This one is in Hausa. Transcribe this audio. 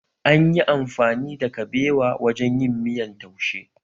An yi amfani da kabewa wajen yin miyan taushe